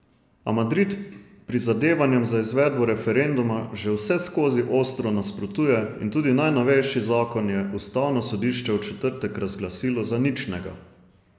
A Madrid prizadevanjem za izvedbo referenduma že vseskozi ostro nasprotuje in tudi najnovejši zakon je ustavno sodišče v četrtek razglasilo za ničnega.